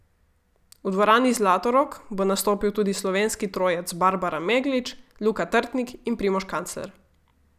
V dvorani Zlatorog bo nastopil tudi slovenski trojec Barbara Meglič, Luka Trtnik in Primož Kancler.